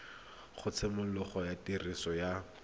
ga tshimologo ya tiriso ya